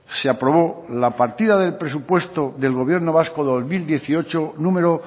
se aprobó la partida del presupuesto del gobierno vasco dos mil dieciocho número